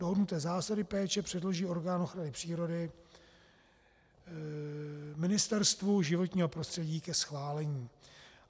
Dohodnuté zásady péče předloží orgán ochrany přírody Ministerstvu životního prostředí ke schválení.